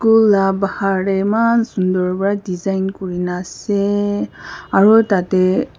school la bahar tae eman sunder pra design kurina ase aro tatae --